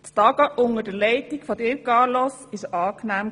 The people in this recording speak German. Das Tagen unter deiner Leitung, Carlos, war angenehm.